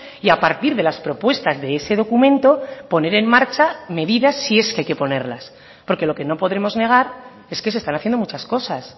y a partir de las propuestas de ese documento poner en marcha medidas si es que hay que ponerlas porque lo que no podremos negar es que se están haciendo muchas cosas